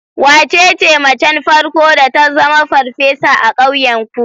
Wace ce macen farko da ta zama farfesa a ƙauyenku?